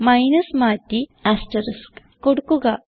minus മാറ്റി asterisk കൊടുക്കുക